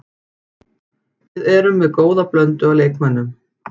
Við erum með góða blöndu af leikmönnum.